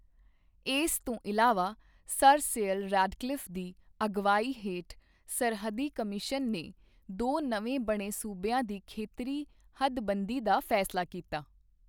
ਇਸ ਤੋਂ ਇਲਾਵਾ, ਸਰ ਸਿਰਿਲ ਰੈਡਕਲਿਫ਼ ਦੀ ਅਗਵਾਈ ਹੇਠ ਸਰਹੱਦੀ ਕਮਿਸ਼ਨ ਨੇ ਦੋ ਨਵੇਂ ਬਣੇ ਸੂਬਿਆਂ ਦੀ ਖੇਤਰੀ ਹੱਦਬੰਦੀ ਦਾ ਫੈਸਲਾ ਕੀਤਾ।